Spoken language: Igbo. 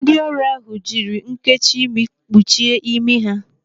Ndị ọrụ ahụ jiri nnkechi imi kpuchie imi ha.